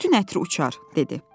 Bütün ətri uçar, dedi.